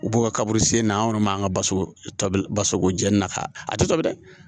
U b'u ka kaburu sen na an kɔni man ka ba to basogo jeni na k'a a tɛ tobi dɛ